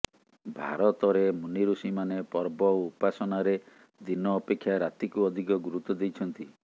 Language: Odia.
ଭାରତରେ ମୁନିଋଷିମାନେ ପର୍ବ ଓ ଉପାସନାରେ ଦିନ ଅପେକ୍ଷା ରାତିକୁ ଅଧିକ ଗୁରୁତ୍ୱ ଦେଇଛନ୍ତି